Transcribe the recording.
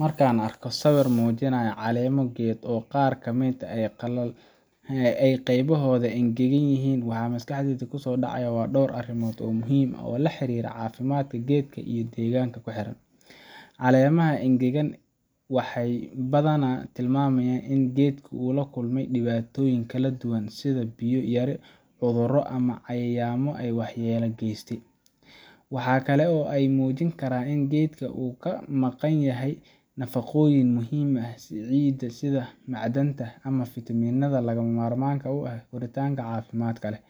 Marka aan arko sawir muujinaya caleemo geed oo qaar ka mid ah qaybahoodu engegan yihiin, waxa maskaxdayda ku soo dhacaya dhowr arrimood oo muhiim ah oo la xiriira caafimaadka geedka iyo deegaanka ku xeeran. Caleemaha engegan waxay badanaa tilmaamayaan in geedka uu la kulmay dhibaatooyin kala duwan sida biyo yari, cudurro, ama cayayaanno waxyeelo geystay. Waxa kale oo ay muujin karaan in geedka uu ka maqan yahay nafaqooyinka muhiimka ah ee ciidda, sida macdanta ama fitamiinada lagama maarmaanka u ah koritaanka caafimaadka leh.